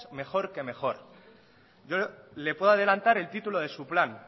mejor que mejor yo le puedo adelantar el título de su plan